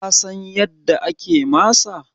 kasan yadda ake masa